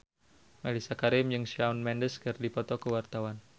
Mellisa Karim jeung Shawn Mendes keur dipoto ku wartawan